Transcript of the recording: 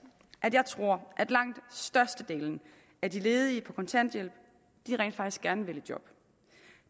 at jeg tror at langt størstedelen af de ledige på kontanthjælp rent faktisk gerne vil i job